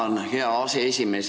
Tänan, hea aseesimees!